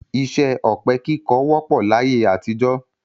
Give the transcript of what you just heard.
Iṣẹ́ ọ̀pẹ-kíkọ wọ́pọ̀ láyé àtijọ́.